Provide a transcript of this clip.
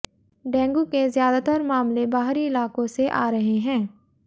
dengue के ज्यादातर मामले बाहरी इलाकों से आ रहे हैं